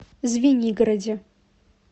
звенигороде